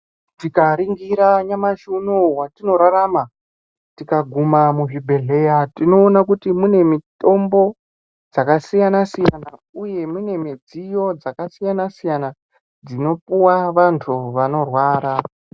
Tikaringira nyamashi unowu watinorarama tikaguma mizvibhedhleya tinoona kuti mune mitombo dzakasiyana siyana uye mune midziyo dzakasiyana siyana dzinopuwa vantu vanorwara.